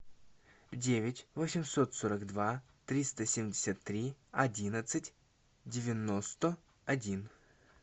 девять восемьсот сорок два триста семьдесят три одиннадцать девяносто один